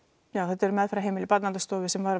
já þetta eru meðferðarheimili Barnaverndarstofu sem